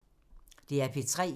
DR P3